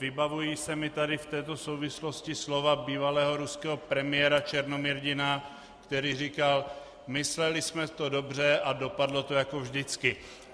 Vybavují se mi tady v této souvislosti slova bývalého ruského premiéra Černomyrdina, který říkal: "Mysleli jsme to dobře, ale dopadlo to jako vždycky."